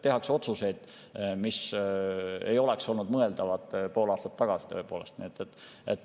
Tehakse otsuseid, mis tõepoolest ei oleks pool aastat tagasi mõeldavad olnud.